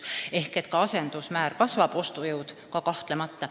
Seega asendusmäär kasvab ja ostujõud ka kahtlemata.